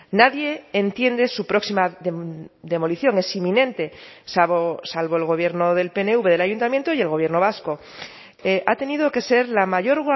nadie entiende su próxima demolición es inminente salvo el gobierno del pnv del ayuntamiento y el gobierno vasco ha tenido que ser la mayor